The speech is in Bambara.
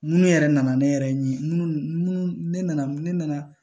Munnu yɛrɛ nana ne yɛrɛ ɲin ne nana ne nana